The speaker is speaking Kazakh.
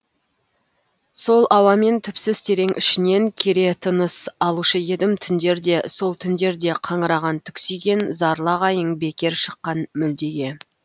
сол ауамен түпсіз терең ішінен кере тыныс алушы едім түндерде сол түндерде қаңыраған түксиген зарлы айғайың бекер шыққан мүлдеге